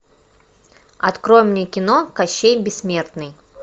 открой мне кино кощей бессмертный